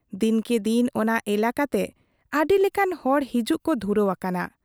ᱫᱤᱱ ᱠᱮ ᱫᱤᱱ ᱚᱱᱟ ᱮᱞᱟᱠᱟ ᱛᱮ ᱟᱹᱰᱤ ᱞᱮᱠᱟᱱ ᱦᱚᱲ ᱦᱤᱡᱩᱜ ᱠᱚ ᱫᱷᱩᱨᱟᱹᱣ ᱟᱠᱟᱱᱟ ᱾